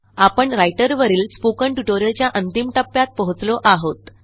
आपण राइटर वरील स्पोकन ट्युटोरियलच्या अंतिम टप्प्यात पोहोचलो आहोत